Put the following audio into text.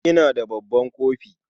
Ina da babban kofi.